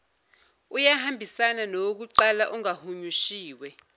uyahambisana nowokuqala ongahunyushiwe